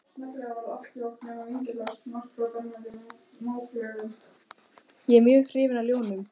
Ég er mjög hrifinn af ljónum.